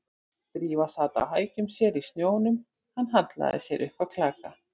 Drífa sat á hækjum sér í snjónum, hann hallaði sér upp að klaka